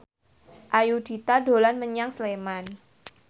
Ayudhita dolan menyang Sleman